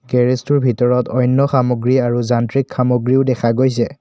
Garage টোৰ ভিতৰত অন্য সামগ্ৰী আৰু যান্ত্ৰিক সামগ্ৰীও দেখা গৈছে।